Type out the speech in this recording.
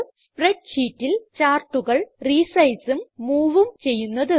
spread ഷീറ്റിൽ ചാർട്ടുകൾ resizeഉം moveഉം ചെയ്യുന്നത്